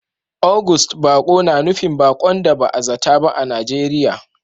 August baƙo na nufin baƙon da ba a zata ba a Najeriya